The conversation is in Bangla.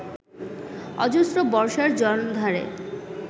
অজস্র বর্ষার জলধারে